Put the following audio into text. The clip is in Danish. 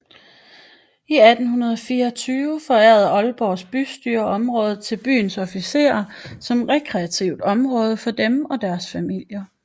I 1824 forærede Aalborgs bystyre området til byens officerer som rekreativt område for dem og deres familier